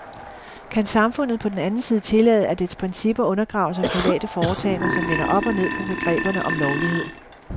Kan samfundet på den anden side tillade, at dets principper undergraves af private foretagender, som vender op og ned på begreberne om lovlighed?